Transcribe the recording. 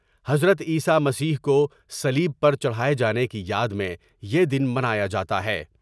حضرت عیسی مسیح کو صلیب پر چڑھائے جانے کی یاد میں یہ دن منا یا جا تا ہے ۔